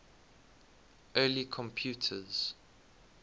early computers